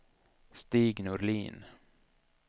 Stig Norlin